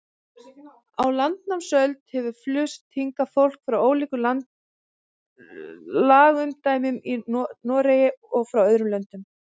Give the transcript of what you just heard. Á landnámsöld hefur flust hingað fólk frá ólíkum lagaumdæmum í Noregi og frá öðrum löndum.